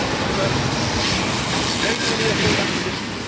But maybe we need a fallback position?